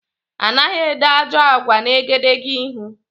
Anaghị ede ajọ àgwà n' egedegeihū.